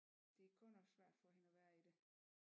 Det er godt nok svært for hende at være i det